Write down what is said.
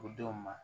O denw ma